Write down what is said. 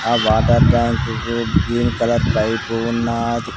ఆ water tank కు green colour pipe ఉన్నాది.